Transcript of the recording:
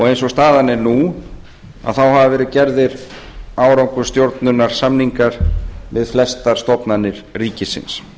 eins og staðan er nú hafa verið gerðir árangursstjórnunarsamningar við flestar stofnanir ríkisins